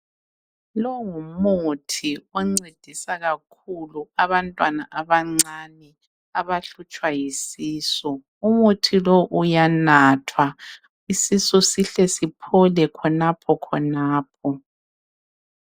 Lo ngumuthi oncedisa kakhulu abantwana abancane abahlutshwa yisisu. Umuthi lowu uyanathwa isisu sihle siphole khonapho khonapho.